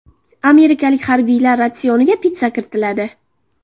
Amerikalik harbiylar ratsioniga pitssa kiritiladi.